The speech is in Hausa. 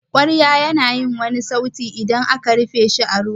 kwarya ya na wani sauti idan aka rufe shi a ruwa.